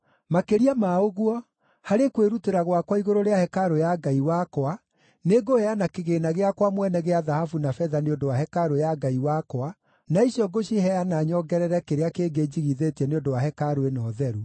Makĩria ma ũguo, harĩ kwĩrutĩra gwakwa igũrũ rĩa hekarũ ya Ngai wakwa nĩngũheana kĩgĩĩna gĩakwa mwene gĩa thahabu na betha nĩ ũndũ wa hekarũ ya Ngai wakwa, na icio ngũciheana nyongerere kĩrĩa kĩngĩ njigithĩtie nĩ ũndũ wa hekarũ ĩno theru: